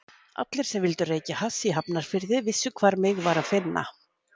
Allir sem vildu reykja hass í Hafnarfirði vissu hvar mig var að finna.